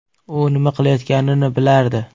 U nima qilayotganini bilardi.